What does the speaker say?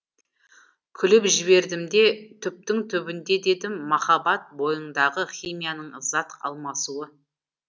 күліп жібердім де түптің түбінде дедім махаббат бойыңдағы химияның зат алмасуы